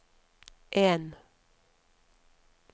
en